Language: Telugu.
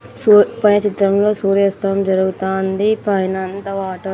సూ పై చిత్రంలో సూర్యాస్తమం జరుగుతాంది పైనంత వాటా--